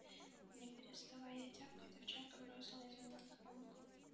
не переставая тявкать овчарка бросилась за ним вдогонку